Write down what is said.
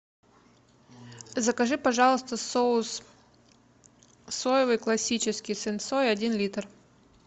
закажи пожалуйста соус соевый классический сенсой один литр